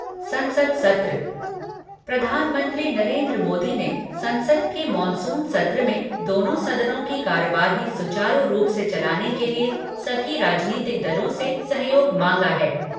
संसद सत्र प्रधानमंत्री नरेन्द्र मोदी ने संसद के मॉनसून सत्र में दोनों सदनों की कार्यवाही सुचारू रूप से चलाने के लिए सभी राजनीतिक दलों से सहयोग मांगा है।